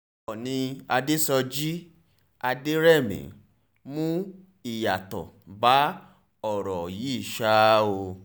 oòní adéṣọ̀jì adẹ̀rẹ̀mí mú ìyàtọ̀ bá ọ̀rọ̀ yìí ṣáá o